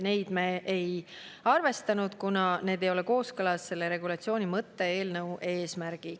Neid me ei arvestanud, kuna need ei ole kooskõlas selle regulatsiooni mõttega ja eelnõu eesmärgiga.